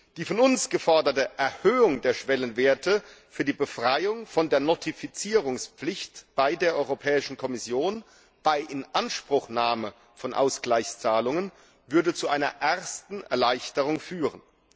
Die von uns geforderte Erhöhung der Schwellenwerte für die Befreiung von der Notifizierungspflicht bei der Europäischen Kommission bei Inanspruchnahme von Ausgleichszahlungen würde zu einer ersten Erleichterung führen.